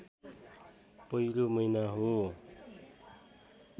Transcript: पहिलो महिना हो